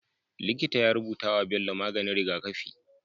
Likita ya rubutawa Bello maganin rigakafi